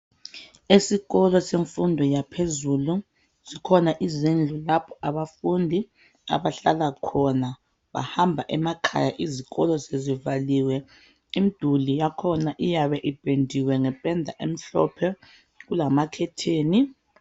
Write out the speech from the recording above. Esikolo semfundo yaphezulu , zikhona izindlu lapho abafundi abahlala khona , bahamba emakhaya izikolo sezivaliwe . Imiduli yakhona iyabe ipendiwe ngependa emhlophe kulamakhetheni .